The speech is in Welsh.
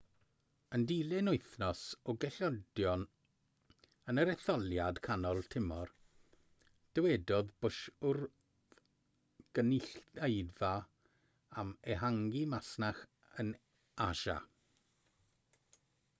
yn dilyn wythnos o golledion yn yr etholiad canol tymor dywedodd bush wrth gynulleidfa am ehangu masnach yn asia